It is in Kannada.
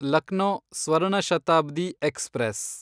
ಲಕ್ನೋ ಸ್ವರ್ಣ ಶತಾಬ್ದಿ ಎಕ್ಸ್‌ಪ್ರೆಸ್